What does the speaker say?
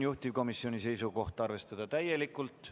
Juhtivkomisjoni seisukoht on arvestada seda täielikult.